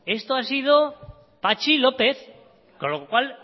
esto ha sido patxi lópez con lo cual